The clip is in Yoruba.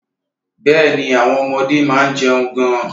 Bẹ́ẹ̀ni, àwọn ọmọdé máa ń jẹun gan-an.